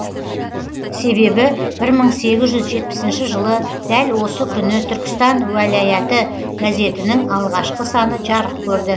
себебі бір мың сегіз жүз жетпісінші жылы дәл осы күні түркістан уәлаяты газетінің алғашқы саны жарық көрді